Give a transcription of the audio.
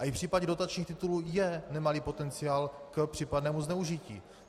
A i v případě dotačních titulů je nemalý potenciál k případnému zneužití.